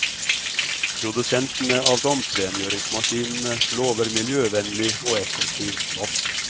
Produsentene av damprengjøringsmaskinene lover miljøvennlig og effektiv vask.